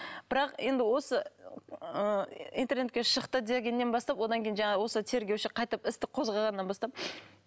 бірақ енді осы ыыы интернетке шықты дегеннен бастап одан кейін жаңағы осы тергеуші қайтіп істі қозғағаннан бастап